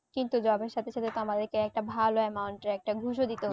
কিন্তু job এর সাথে সাথে তো আমাদেরকে একটা ভালো amount এর একটা ঘুষ ও দিতে